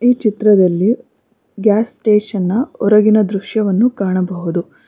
ಈ ಚಿತ್ರದಲ್ಲಿ gas station ನ ಹೊರಗಿನ ದೃಶ್ಯವನ್ನು ಕಾಣಬಹುದು.